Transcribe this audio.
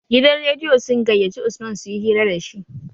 Gidan rediyo sun gayyaci usman suyi hira dashi